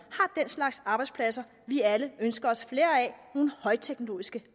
har den slags arbejdspladser vi alle ønsker os flere af nogle højteknologiske